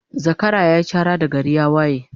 Zakara yayi Chara da gari ya waye